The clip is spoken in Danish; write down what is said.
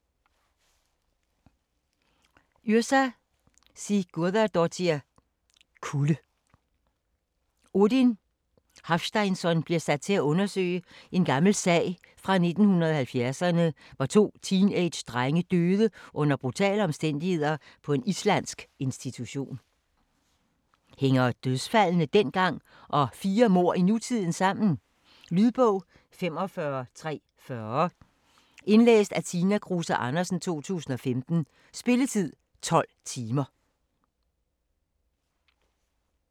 Yrsa Sigurðardóttir: Kulde Odin Hafsteinsson bliver sat til at undersøge en gammel sag fra 1970'erne, hvor to teenagedrenge døde under brutale omstændigheder på en islandsk institution. Hænger dødsfaldene dengang og flere mord i nutiden sammen? Lydbog 45340 Indlæst af Tina Kruse Andersen, 2015. Spilletid: 12 timer, 0 minutter.